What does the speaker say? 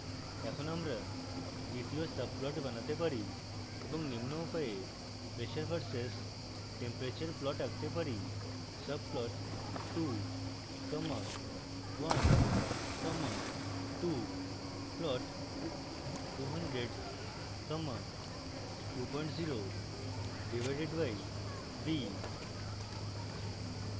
এখন আমরা দ্বিতীয় subplot বানাতে পারি এবং নিম্ন উপায়ে pressure v/s temperature plot আঁকতে পারি